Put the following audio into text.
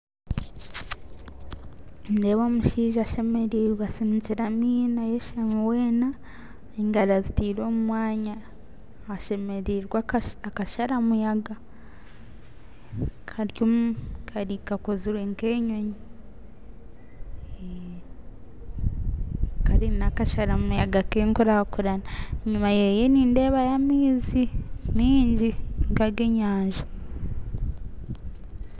Nindeeba omushaija ashemerirwe asinikyire amaino ayashami wena engaro azitire omumwanya, ashemeriirwe akashara muyaga karyomu Kari kakozire nkenyonyo Kare nakasharamuyaga kenkurankurana enyima yeeye nindeba yo amaizi mingi nka agenyanja